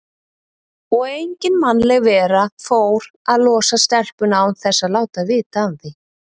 Og engin mannleg vera fór að losa stelpuna án þess að láta vita af því.